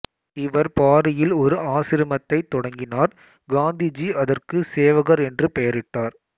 இவர் பாரியில் ஒரு ஆசிரமத்தைத் தொடங்கினார் காந்திஜி அதற்கு சேவகர் என்று பெயரிட்டார்